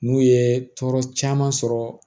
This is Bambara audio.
N'u ye tɔɔrɔ caman sɔrɔ